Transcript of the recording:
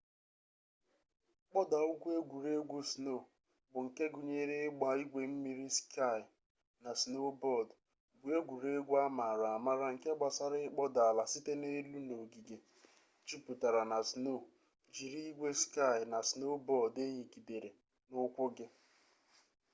kpoda-ugwu egwuregwu-snow bu nke gunyere igba igwe mmiri ski na snowboard bu egwuregwu amaara-amaara nke gbasara ikpoda ala site n'elu n'ogige juputara na snow jiri igwe ski na snowboard eyigidere n'ukwu gi